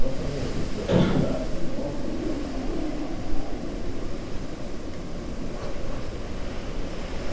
Nós também não, porque se meu pai pegasse... Nossa, mãe! Ia